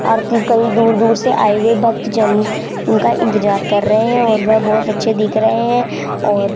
आरती कहीं दूर-दूर से आए हुए भक्त जन उनका इंतजार कर रहे हैं और वह बहुत अच्छे दिख रहे हैं और --